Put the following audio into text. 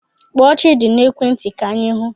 Kpọọ Chidi n'ekwe nti ka anyi hụ